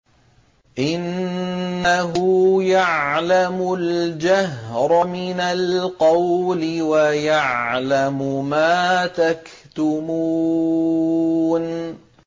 إِنَّهُ يَعْلَمُ الْجَهْرَ مِنَ الْقَوْلِ وَيَعْلَمُ مَا تَكْتُمُونَ